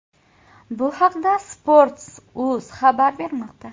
Bu haqda Sports.uz xabar bermoqda .